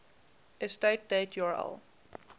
estate date url